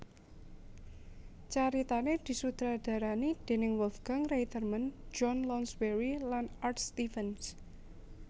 Caritané disutradarani déning Wolfgang Reitherman John Lounsbery lan Art Stevens